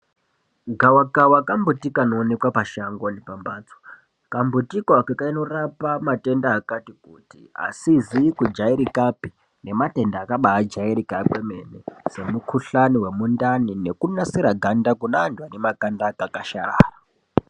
Gavakava kambuti kanoonekwe pashango nepamhatso. Kambuti koako kanorapa matenda akatikuti, asizi kujairikapi nematenda akabaajairika kwemene semukhuhlane wemundani nekunasira ganda kunaantu ane makanda akakwasharara.